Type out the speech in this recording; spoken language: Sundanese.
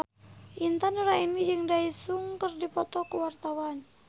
Intan Nuraini jeung Daesung keur dipoto ku wartawan